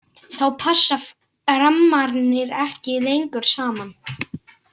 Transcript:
Þá passa rammarnir ekki lengur saman.